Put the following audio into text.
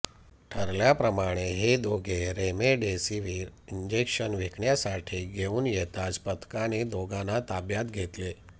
ठरल्याप्रमाणे हे दोघे रेमेडेसिविर इंजेक्शन विकण्यासाठी घेऊन येताच पथकाने दोघांना ताब्यात घेतले